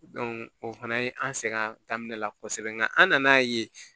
o fana ye an sɛgɛn daminɛ la kɔsɛbɛ nga an nana ye